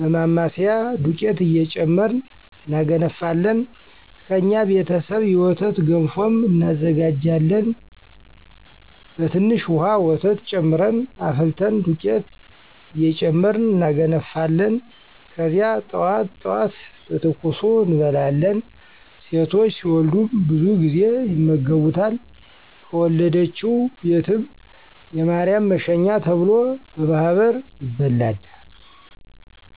በማማሰያ <ዱቄት እየጨመርን እናገነፋለን>ከእኛ ቤተሰብ የወተት ገንፎም እናዘጋጃሀን በትንሽ ዉሀ ወተት ጨምረን አፍልተን ዱቄት እየጨመርን እናገነፋለን ከዚያ ጠዋት ጠዋት በትኩሱ እንበላለን። ሴቶች ሲወልዱም ብዙ ጊዜ ይመገቡታል ከወለደችዉ ቤትም <የማርያም መሸኛ ተብሎ>በማህበር ይበላል።